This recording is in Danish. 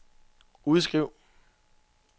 udskriv